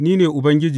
Ni ne Ubangiji.